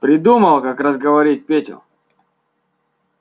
придумал как разговорить петю